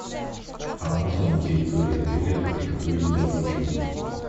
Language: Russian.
а можно на территории отеля приготовить барбекю